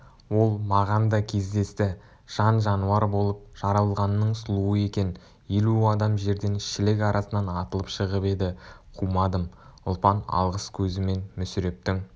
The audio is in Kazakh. ол маған да кездесті жан-жануар болып жаралғанның сұлуы екен елу қадам жерден шілік арасынан атылып шығып еді қумадым ұлпан алғыс көзімен мүсірептің